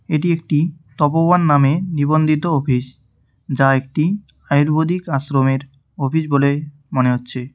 এটি একটি তপবন নামে নিবন্ধিত অফিস যা একটি আয়ুর্বেদিক আশ্রমের অফিস বলে মনে হচ্ছে।